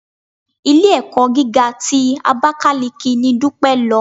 Ilé-ẹ̀kọ́ gíga ti Abakaliki ni Dúpẹ́ lọ.